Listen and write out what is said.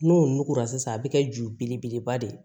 N'o nugura sisan a bɛ kɛ ju belebeleba de ye